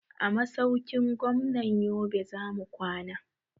A masaukin gwamnan yobe zamu kwana